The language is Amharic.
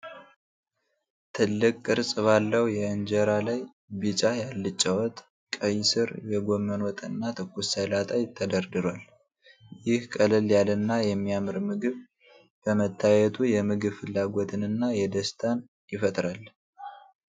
ትልቅ ቅርጽ ባለው የእንጀራ ላይ ቢጫ የአልጫ ወጥ፣ ቀይ ሥር የጎመን ወጥና ትኩስ ሰላጣ ተደርድሯል። ይህ ቀለል ያለና የሚያምር ምግብ በመታየቱ የምግብ ፍላጎትንና ደስታን ይፈጥራል።